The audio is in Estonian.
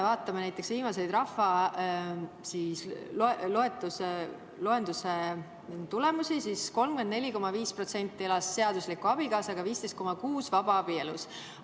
Vaatame näiteks viimaseid rahvaloenduse tulemusi: 34,5% elas seadusliku abikaasaga, 15,6% vabaabielus.